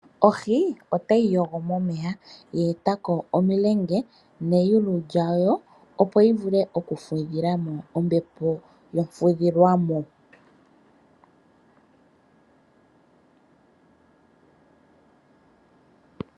Ohi ota yi yogo momeya ye eta ko omulenge neyulu lyayo, opo yi vule okufudhila mo ombepo yomfudhilwamo.